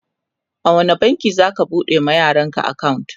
a wani banki zaka bude wa yaran ka akawunt?